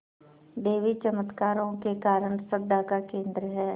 देवी चमत्कारों के कारण श्रद्धा का केन्द्र है